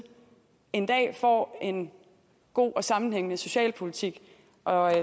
en dag får en god og sammenhængende socialpolitik og